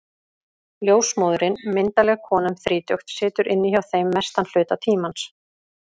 Ljósmóðirin, myndarleg kona um þrítugt, situr inni hjá þeim mestan hluta tímans.